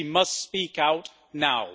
She must speak out now.